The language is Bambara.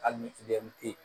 Hali ni